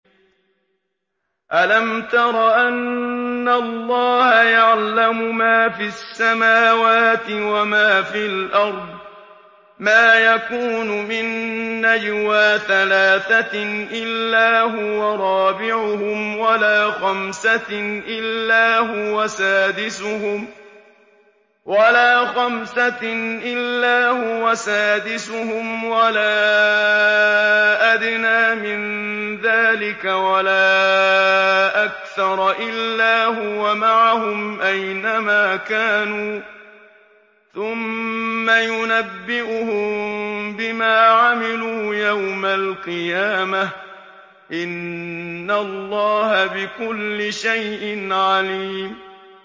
أَلَمْ تَرَ أَنَّ اللَّهَ يَعْلَمُ مَا فِي السَّمَاوَاتِ وَمَا فِي الْأَرْضِ ۖ مَا يَكُونُ مِن نَّجْوَىٰ ثَلَاثَةٍ إِلَّا هُوَ رَابِعُهُمْ وَلَا خَمْسَةٍ إِلَّا هُوَ سَادِسُهُمْ وَلَا أَدْنَىٰ مِن ذَٰلِكَ وَلَا أَكْثَرَ إِلَّا هُوَ مَعَهُمْ أَيْنَ مَا كَانُوا ۖ ثُمَّ يُنَبِّئُهُم بِمَا عَمِلُوا يَوْمَ الْقِيَامَةِ ۚ إِنَّ اللَّهَ بِكُلِّ شَيْءٍ عَلِيمٌ